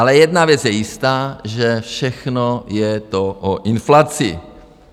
Ale jedna věc je jistá, že všechno je to o inflaci.